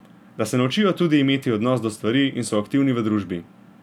Da se naučijo tudi imeti odnos do stvari in so aktivni v družbi.